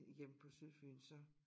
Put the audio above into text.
Hjem på Sydfyn så